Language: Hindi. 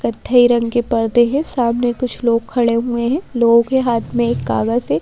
कद्ध रंग के पर्दे हैं सामने कुछ लोग खड़े हुए हैं लोगों के हाथ में एक कागज है।